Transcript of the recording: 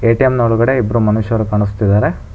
ATM ನ ಒಳಗಡೆ ಇಬ್ರು ಮನುಷ್ಯರು ಕಾಣಿಸ್ತಿದಾರೆ.